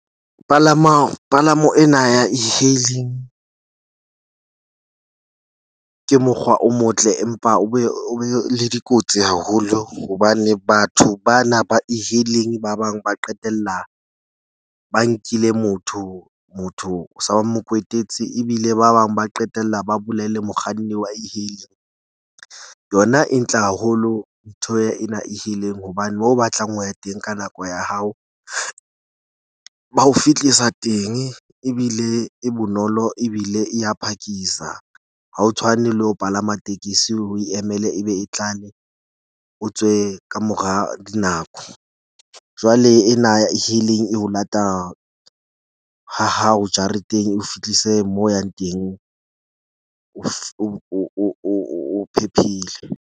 Palamo ena ya E-hailing ke mokgwa o motle, empa o be o be le dikotsi haholo hobane batho ba na ba E-hailing ba bang ba qetella ba nkile motho. Motho sa ba mo kwetetse ebile ba bang ba qetella ba bolaile mokganni wa E-hailing. Yona e ntle haholo. Ntho ena E-hailing hobane moo o batlang ho ya teng ka nako ya hao ba ho fihlisa teng ebile e bonolo ebile e ya phakisa. Ha ho tshwane le ho palama tekesi o e emele e be e tlale, o tswe ka mora dinako. Jwale ena E-hailing e o lata ha hao jareteng, eo fihlise moo o yang teng, o phephile.